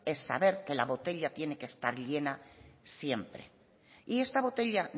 es saber que la botella tiene que estar llena siempre y esta botella